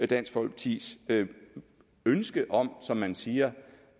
dansk folkepartis ønske om som man siger